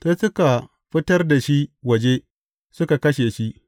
Sai suka fitar da shi waje, suka kashe shi.